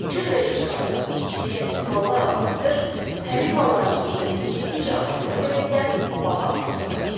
Cürbəcür saxta, keyfiyyətsiz mallar alıb satır, həmin malların qiyməti getdikcə artdığına görə isə babat pul qazanırdı.